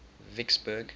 vicksburg